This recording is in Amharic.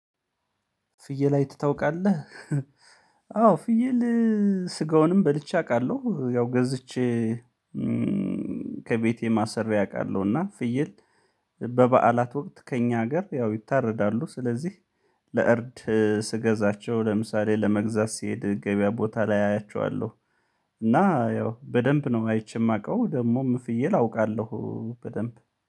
ፍይል አይተ ታውቃለህ? አዎ፣ ፍየል ስጋውንም በልቼ አቃለው። ያው ገዝቼ ከቤቴም አስሬ አቃለሁ እና ፍየል በበዓላት ወቅት ከኛ አገር ያው ይታረዳሉ ስለዚህ ለእርድ ስገዛቸው፣ ለምሳሌ ለመግዛት ስሄድ ገብያ ቦታ ላይ አያቸዋለሁ እና ያው በደምብ ነው አይቼ ማቀው። ደሞም ፍየል አውቃለሁ በደምብ